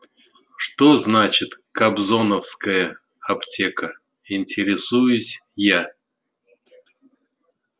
что значит кобзоновская аптека интересуюсь я